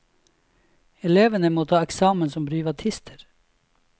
Elevene må ta eksamen som privatister.